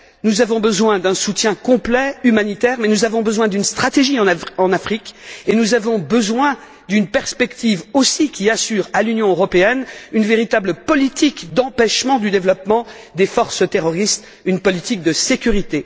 Nous avons besoin d'un soutien complet, humanitaire, mais nous avons besoin d'une stratégie en Afrique et d'une perspective aussi qui assure à l'Union européenne une véritable politique d'empêchement du développement des forces terroristes, une politique de sécurité.